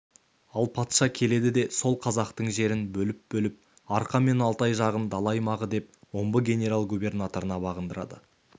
ал патша келеді де сол қазақтың жерін бөліп-бөліп арқа мен алтай жағын дала аймағы деп омбы генерал-губернаторына бағындырады